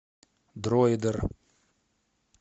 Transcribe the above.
дроидер